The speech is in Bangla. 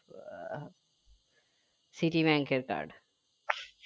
citi bank এর card